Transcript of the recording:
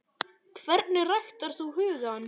Hvernig ræktar þú hugann?